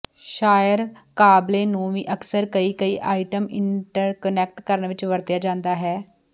ਸ਼ਆਰ ਕਾਬਲੇ ਨੂੰ ਵੀ ਅਕਸਰ ਕਈ ਕਈ ਆਈਟਮ ਇੰਟਰਕੁਨੈਕਟ ਕਰਨ ਵਿੱਚ ਵਰਤਿਆ ਜਾਦਾ ਹੈ